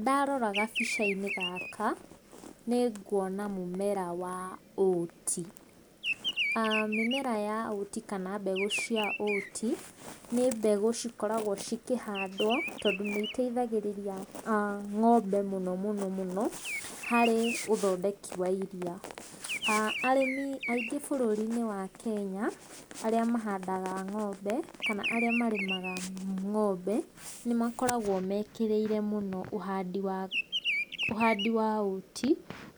Ndarora gabica-inĩ gaka nĩ nguona mũmera wa oat. Mĩmera ya oat kana mbegũ cia oat nĩ mbegũ cikoragwo cikĩhandwo, tondũ nĩ iteithagĩrĩria ng'ombe mũno mũno harĩ ũthondeki wa iria. Arĩmi aingĩ bũrũri-inĩ wa Kenya arĩa mahandaga ng'ombe, kana arĩa marĩmaga ng'ombe nĩ makoragwo mekĩrĩire mũno ũhandi wa oat,